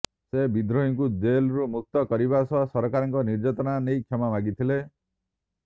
ସେ ବିଦ୍ରୋହୀଙ୍କୁ ଜେଲରୁ ମୁକ୍ତ କରିବା ସହ ସରକାରଙ୍କ ନିର୍ଯାତନା ନେଇ କ୍ଷମା ମାଗିଥିଲେ